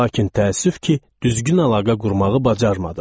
Lakin təəssüf ki, düzgün əlaqə qurmağı bacarmadım.